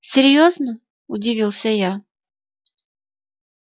серьёзно удивился я